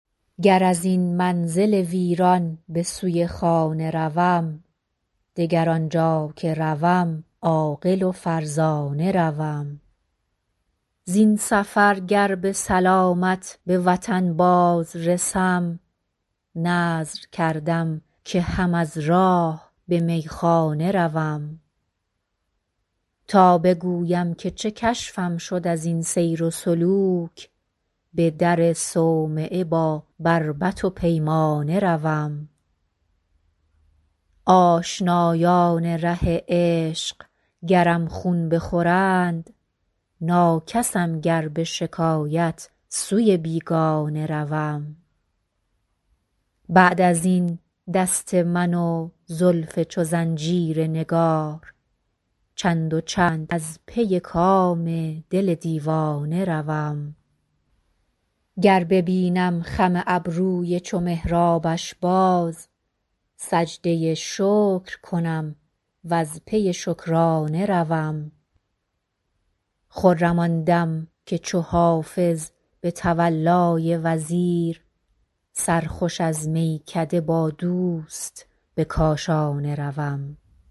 گر از این منزل ویران به سوی خانه روم دگر آنجا که روم عاقل و فرزانه روم زین سفر گر به سلامت به وطن باز رسم نذر کردم که هم از راه به میخانه روم تا بگویم که چه کشفم شد از این سیر و سلوک به در صومعه با بربط و پیمانه روم آشنایان ره عشق گرم خون بخورند ناکسم گر به شکایت سوی بیگانه روم بعد از این دست من و زلف چو زنجیر نگار چند و چند از پی کام دل دیوانه روم گر ببینم خم ابروی چو محرابش باز سجده شکر کنم و از پی شکرانه روم خرم آن دم که چو حافظ به تولای وزیر سرخوش از میکده با دوست به کاشانه روم